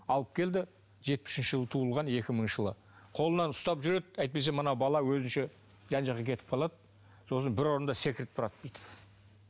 алып келді жетпіс үшінші жылы туылған екі мыңыншы жылы қолынан ұстап жүреді әйтпесе мына бала өзінше жан жағына кетіп қалады сосын бір орында секіріп тұрады бүйтіп